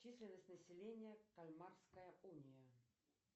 численность населения кальмарская уния